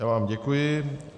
Já vám děkuji.